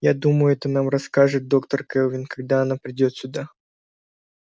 я думаю это нам расскажет доктор кэлвин когда она придёт сюда